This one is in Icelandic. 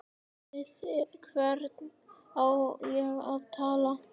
Við hvern á ég að tala?